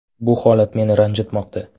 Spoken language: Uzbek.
Bu holat meni ranjitmoqda.